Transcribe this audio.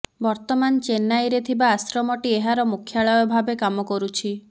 ବର୍ତ୍ତମାନ ଚେନ୍ନାଇରେ ଥିବା ଆଶ୍ରମଟି ଏହାର ମୁଖ୍ୟାଳୟ ଭାବେ କାମ କରୁଛି